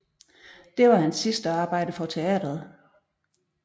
Det var hans sidste arbejde for teatret